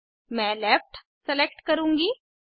मैं left select करुँगी